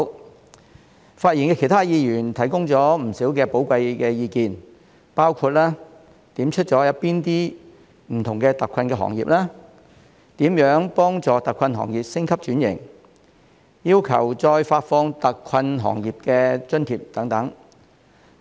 其他發言的議員均提供了不少寶貴意見，包括指出了哪些不同的特困行業、如何幫助特困行業升級轉型，以及要求再發放特困行業津貼等。